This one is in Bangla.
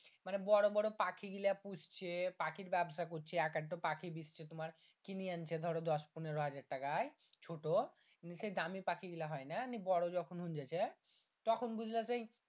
মানে বড়ো বড়ো পাখি গীলা পুষছে পাখির ব্যবসা করছে এক আধটো ও পাখি বিষছে তোমার কিনি আনছে ধরো দশ পনেরো হাজার টাকায় ছোট নিয় সেই দামি পাখি গীলা হয় না নি বড়ো যখন হুংগেছে তখন বুজলা সেই